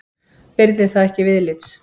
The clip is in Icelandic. Virði það ekki viðlits.